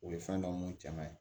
O ye fɛn dɔ mun caman ye